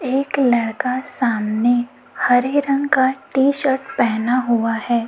एक लड़का सामने हरे रंग का टी शर्ट पहना हुआ है।